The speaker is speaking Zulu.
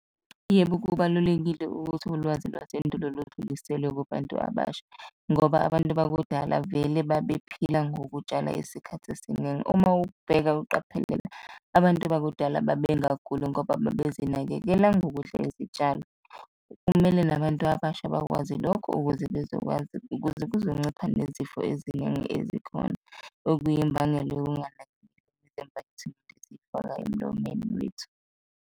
Yebo, kubalulekile ukuthi ulwazi lwasendulo ludluliselwe kubantu abasha ngoba abantu bakudala vele babephila ngokutshala Isikhathi esiningi. Uma ubheka uqaphelela, abantu bakudala babengaguli ngoba babezinakekela ngokudla izitshalo. Kumele nabantu abasha bakwazi lokho ukuze bezokwazi, ukuze kuzoncipha nezifo eziningi ezikhona, okuyimbangela yokunganaki esizifaka emlomeni wethu.